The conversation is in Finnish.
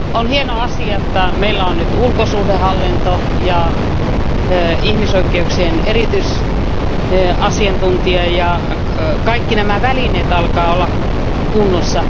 On hieno asia, että meillä on nyt ulkosuhdehallinto ja ihmisoikeuksien erityisasiantuntija ja että kaikki nämä välineet alkavat olla kunnossa.